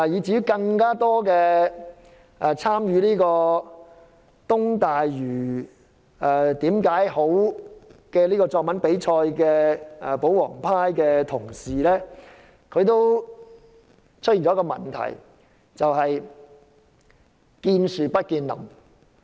參加"支持'明日大嶼'的10個理由"作文比賽的保皇派同事，都有一個問題，就是見樹不見林。